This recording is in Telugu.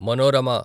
మనోరమ